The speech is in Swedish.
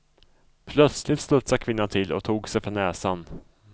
Plötsligt studsade kvinnan till och tog sig för näsan.